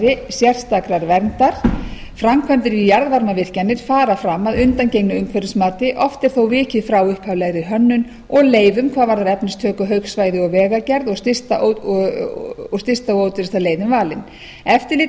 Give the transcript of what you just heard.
sérstakrar verndar framkvæmdir við jarðhitavirkjanir fara fram að undangengnu umhverfismati oft er þó vikið frá upphaflegri hönnun og leyfum hvað varðar efnistöku haugsvæði og vegagerð og stysta og ódýrasta leiðin valin eftirliti